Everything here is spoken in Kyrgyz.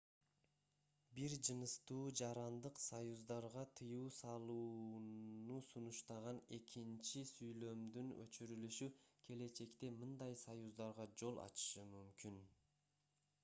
бир жыныстуу жарандык союздарга тыюу салууна сунуштаган экинчи сүйлөмдүн өчүрүлүшү келечекте мындай союздарга жол ачышы мүмкүн